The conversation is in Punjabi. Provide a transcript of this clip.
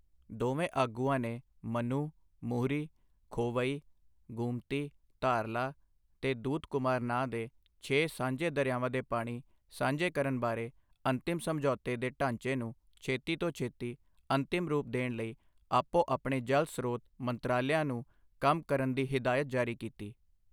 ਦੋਵੇਂ ਆਗੂਆਂ ਨੇ ਮਨੂ, ਮੁਹੂਰੀ, ਖੋਵਈ, ਗੁਮਤੀ, ਧਾਰਲਾ ਤੇ ਦੂਧਕੁਮਾਰ ਨਾਂ ਦੇ ਛੇ ਸਾਂਝੇ ਦਰਿਆਵਾਂ ਦੇ ਪਾਣੀ ਸਾਂਝੇ ਕਰਨ ਬਾਰੇ ਅੰਤਿਮ ਸਮਝੌਤੇ ਦੇ ਢਾਂਚੇ ਨੂੰ ਛੇਤੀ ਤੋਂ ਛੇਤੀ ਅੰਤਿਮ ਰੂਪ ਦੇਣ ਲਈ ਆਪੋ ਆਪਣੇ ਜਲ ਸਰੋਤ ਮੰਤਰਾਲਿਆਂ ਨੂੰ ਕੰਮ ਕਰਨ ਦੀ ਹਦਾਇਤ ਜਾਰੀ ਕੀਤੀ।